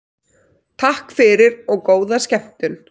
Takk fyrir og góða skemmtun.